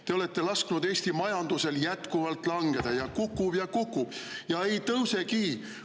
Te olete lasknud Eesti majandusel jätkuvalt langeda – kukub ja kukub ja ei tõusegi!